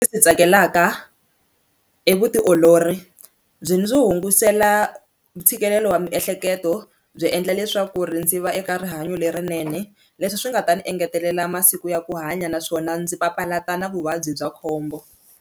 Ndzi swi tsakelaka i vutiolori byi ndzi hungasela ntshikelelo wa miehleketo byi endla leswaku ri ndzi va eka rihanyo lerinene leswi swi nga ta ni engetelela masiku ya ku hanya naswona ndzi papalata na vuvabyi bya khombo.